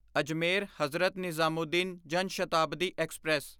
Ajmer Hazrat Nizamuddin Jan Shatabdi express